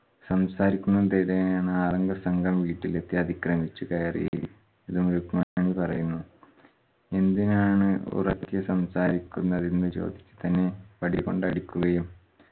സംസാരിക്കുന്ന ആറ് അംഗ സംഘംവീട്ടിലെത്തി അതിക്രമിച്ചു കയറി പറയുന്നു. എന്തിനാണ് ഉറക്കെ സംസാരിക്കുന്നത് എന്ന് ചോദിച്ചതിന് വടി കൊണ്ട് തന്നെ അടിക്കുകയും